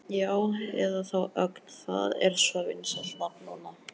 Já, eða þá Ögn, það er svo vinsælt nafn núna.